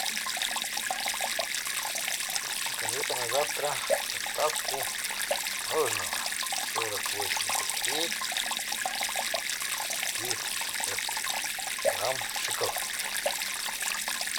закажи ка на завтра доставку мороженого сорок восемь копеек четыреста пятьдесят грамм шоколадное